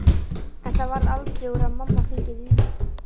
En það varð aldrei úr að mamma fengi vínið.